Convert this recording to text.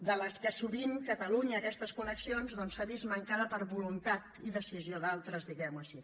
de les quals sovint catalunya aquestes connexions doncs s’ha vist mancada per voluntat i decisió d’altres diguem ho així